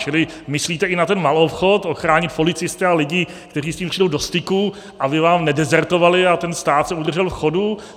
Čili myslíte i na ten maloobchod, ochránit policisty a lidi, kteří s tím přijdou do styku, aby vám nedezertovali a ten stát se udržel v chodu?